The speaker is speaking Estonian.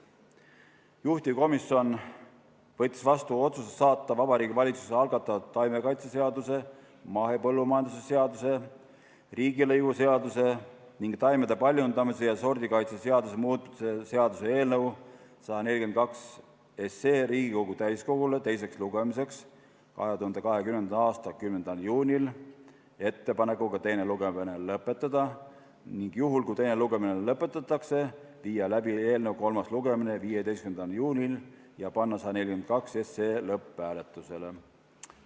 Juhtivkomisjon võttis vastu otsuse saata Vabariigi Valitsuse algatatud taimekaitseseaduse, mahepõllumajanduse seaduse, riigilõivuseaduse ning taimede paljundamise ja sordikaitse seaduse muutmise seaduse eelnõu 142 Riigikogu täiskogule teiseks lugemiseks 2020. aasta 10. juuniks ettepanekuga teine lugemine lõpetada ning juhul, kui teine lugemine lõpetatakse, viia läbi kolmas lugemine 15. juunil ja panna eelnõu 142 lõpphääletusele.